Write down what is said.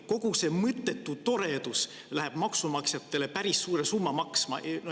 Kogu see mõttetu toredus läheb maksumaksjatele maksma päris suure summa.